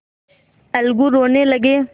अलगू रोने लगे